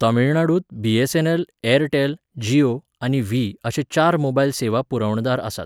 तमिळनाडूंत BSNL, Airtel, Jio, आनी Vi अशे चार मोबायल सेवा पुरवणदार आसात.